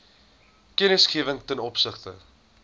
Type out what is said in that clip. kennisgewing ten opsigte